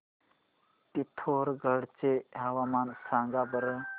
पिथोरगढ चे हवामान सांगा बरं